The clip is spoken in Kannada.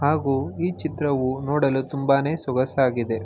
ಹಾಗು ಈ ಚಿತ್ರವು ನೋಡಲು ತುಂಬಾನೇ ಸೊಗಸಾಗಿದೆ.